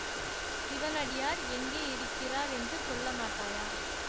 சிவனடியார் எங்கே இருக்கிறார் என்று சொல்லமாட்டாயா